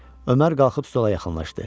Ömər qalxıb stola yaxınlaşdı.